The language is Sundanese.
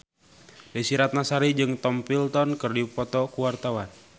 Desy Ratnasari jeung Tom Felton keur dipoto ku wartawan